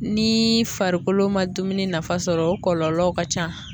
Ni farikolo ma dumuni nafa sɔrɔ o kɔlɔlɔw ka can.